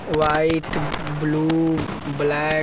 white blue black --